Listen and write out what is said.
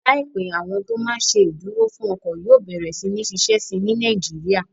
Láìpẹ́, àwọn tó máa n ṣe ìdúró fún ọkọ̀ yóò bẹ̀rẹ̀ sí ní ṣiṣẹ́ síi ní Nàìjíríyà